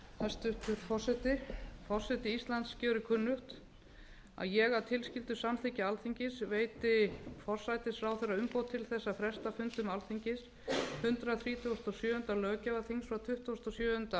hæstvirtur forseti forseti íslands gjörir kunnugt að ég að tilskildu samþykki alþingis veiti forsætisráðherra umboð til þess að fresta fundum alþingis hundrað þrítugasta og sjöunda löggjafarþingi frá tuttugasta og sjöunda